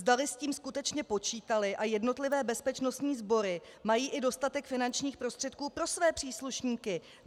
Zdali s tím skutečně počítaly a jednotlivé bezpečnostní sbory mají i dostatek finančních prostředků pro své příslušníky.